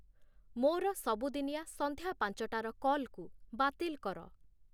ମୋର ସବୁଦିନିଆ ସନ୍ଧ୍ୟା ପାଞ୍ଚଟାର କଲ୍‌କୁ ବାତିଲ୍‌ କର